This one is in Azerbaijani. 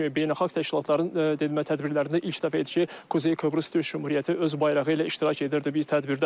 Beynəlxalq təşkilatların dedilər tədbirlərində ilk dəfədir ki, Kuzey Kipr Türk Cümhuriyyəti öz bayrağı ilə iştirak edirdi bu tədbirdə.